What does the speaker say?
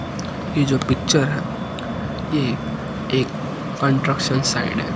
ये जो पिक्चर ये एक कंट्रक्शन साइड है।